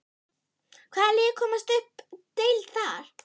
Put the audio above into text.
Hvaða lið komast upp um deild þar?